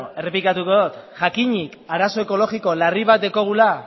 bale beno errepikatuko dut jakinik arazo ekologiko larri bat daukagula